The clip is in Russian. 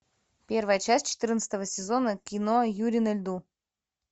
первая часть четырнадцатого сезона кино юри на льду